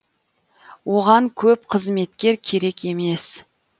оған көп қызметкер керек емес